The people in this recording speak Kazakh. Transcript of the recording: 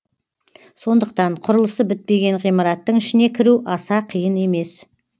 сондықтан құрылысы бітпеген ғимараттың ішіне кіру аса қиын емес